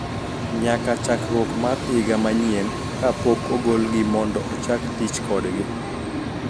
Nyaka chakruok mar higa manyien ka pok ogolgi mondo ochak tich kodgi